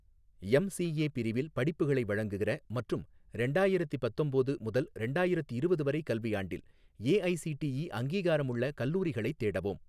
MCA பிரிவில் படிப்புகளை வழங்குகிற மற்றும் ரெண்டாயிரத்தி பத்தொம்போது முதல் ரெண்டாயிரத்திரவது வரை கல்வியாண்டில் ஏஐசிடிஇ அங்கீகாரமுள்ள கல்லூரிகளைத் தேடவும்.